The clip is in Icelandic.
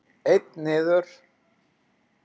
Einn niður?